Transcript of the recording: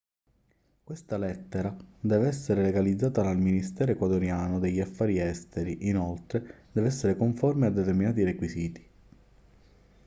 questa lettera deve essere legalizzata dal ministero ecuadoriano degli affari esteri inoltre deve essere conforme a determinati requisiti